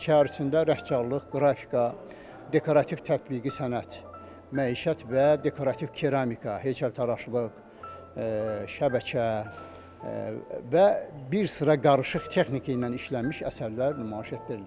Bunların içərisində rəngkarlıq, qrafika, dekorativ tətbiqi sənət, məişət və dekorativ keramika, heykəltaraşlıq, şəbəkə və bir sıra qarışıq texnika ilə işlənmiş əsərlər nümayiş etdirilir.